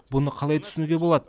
бұны қалай түсінуге болады